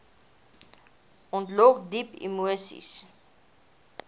ontlok diep emoseis